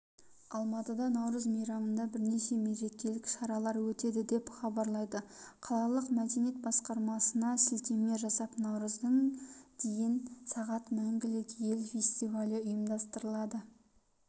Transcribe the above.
алматыда наурыз мейрамында бірнеше мерекелік шаралар өтеді деп хабарлайды қалалық мәдениет басқармасына сілтеме жасап наурыздың дейін сағат мәнгілік ел фестивалі ұйымдастырылады